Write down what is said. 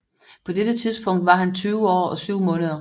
På dette tidspunkt var han 20 år og 7 måneder